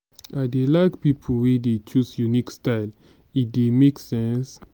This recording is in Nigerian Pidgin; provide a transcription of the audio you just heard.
i dey like pipo wey dey choose unique style e dey make sense.